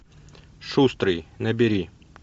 шустрый набери